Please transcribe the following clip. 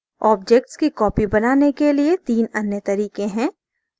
objects की copies बनाने के लिए 3 अन्य तरीके हैं